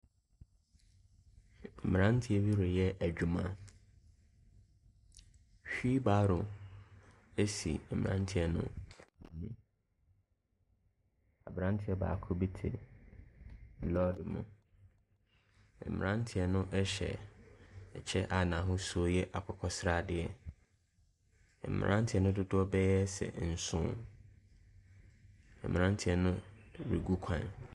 Mmeranteɛ bi reyɛ adwuma. Wheel barrow si mmeranteɛ no ho. Aberanteɛ baako bi te lɔɔre mu. Mmeranteɛ no hyɛ ɛkyɛ a n'ahosuo yɛ akokɔsradeɛ. Mmeranteɛ no dodoɔ bɛyɛ sɛ nso. Mmeranteɛ no regu kwan.